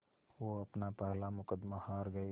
वो अपना पहला मुक़दमा हार गए